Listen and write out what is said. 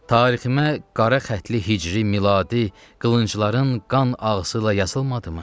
Tariximə qara xətli hicri miladi qılıncların qan ağzı ilə yazılmadımı?